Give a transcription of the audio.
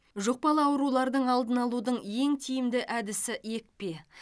жұқпалы аурулардың алдын алудың ең тиімді әдісі екпе